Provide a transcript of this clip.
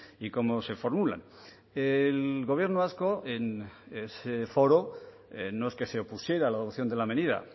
y cómo se formulan el gobierno vasco en ese foro no es que se opusiera a la adopción de la medida